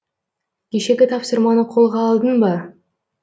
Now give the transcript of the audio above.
кешегі тапсырманы қолға алдың ба